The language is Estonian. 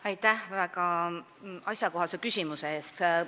Aitäh väga asjakohase küsimuse eest!